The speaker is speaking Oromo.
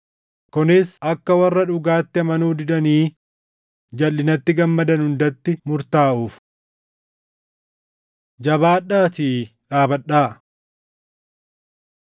kunis akka warra dhugaatti amanuu didanii jalʼinatti gammadan hundatti murtaaʼuuf. Jabaadhaatii Dhaabadhaa